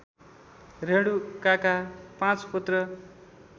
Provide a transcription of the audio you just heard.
रेणुकाका पाँच पुत्र